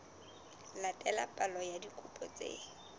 latela palo ya dikopo tse